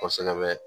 Kosɛbɛ bɛ